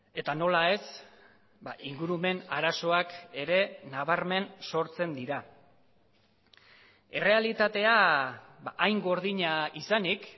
eta nola ez ingurumen arazoak ere nabarmen sortzen dira errealitatea hain gordina izanik